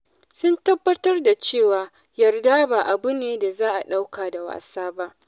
Sun tabbatar da cewa yarda ba abu ne da za a ɗauka da wasa ba.